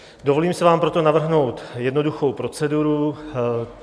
Dovolím si vám proto navrhnout jednoduchou proceduru.